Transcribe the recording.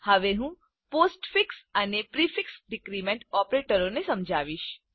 હું હવે પોસ્ટફિક્સ અને પ્રિફિક્સ ડીક્રીમેન્ટ ઓપરેટરો સમજાવીશ